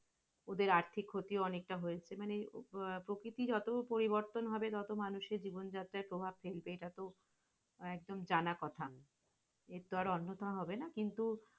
ওদের আর্থিক ক্ষতি অনেকটা হয়েছে মানে আহ প্রকৃতি যত পরিবর্তন হবে, তত মানুষের জীবনযাত্রা প্রভাব ফেলবে, এটা তো একদম জানা কথা। এছাড়া অন্যতা হবে না কিন্তু